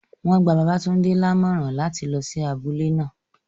Won gba Babatunde lamoran lati lo si abule naa